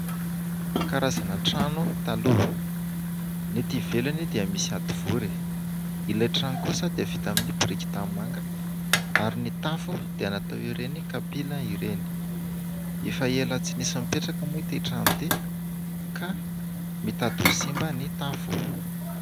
Karazana trano taloha. Ny aty ivelany dia misy hadivory. Ilay trano kosa dia vita amin'ny biriky tanimanga ary ny tafo dia natao ireny kapila ireny. Efa ela tsy nisy nipetraka moa ity trano ity ka mitady ho simba ny tafo.